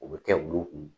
O bɛ kɛ bulu kun